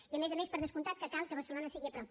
i a més a més per descomptat que cal que barcelona sigui a prop